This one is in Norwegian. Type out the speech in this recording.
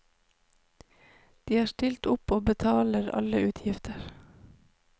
De har stilt opp og betaler alle utgifter.